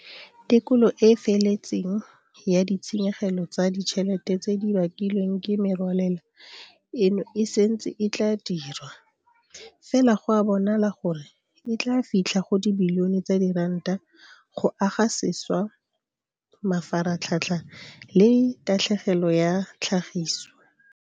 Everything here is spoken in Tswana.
Tekolo e e feletseng ya ditshenyegelo tsa ditšhelete tse di bakilweng ke merwalela eno e santse e tla dirwa, fela go a bonala gore e tla fitlha go dibilione tsa diranta go aga sešwa mafaratlhatlha le tatlhegelo ya tlhagiso.